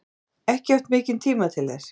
Lillý: Ekki haft mikinn tíma til þess?